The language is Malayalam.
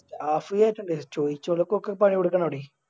അസൂയായിട്ടുണ്ട് ചോയ്‌ച്ചോല്ക്കൊക്കെ പണിക്കോണോടെ